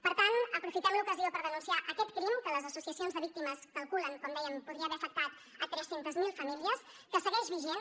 per tant aprofitem l’ocasió per denunciar aquest crim que les associacions de víctimes calculen com dèiem que podria haver afectat tres cents miler famílies que segueix vigent